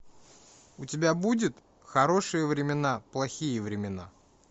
у тебя будет хорошие времена плохие времена